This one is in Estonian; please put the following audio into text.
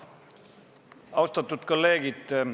Austatud kolleegid!